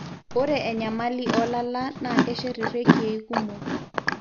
ore enyamali oolala naa keshet ireikiei kumok.